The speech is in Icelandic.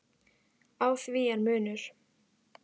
Á því er munur.